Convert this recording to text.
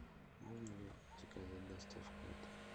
можно ли заказать доставку в отель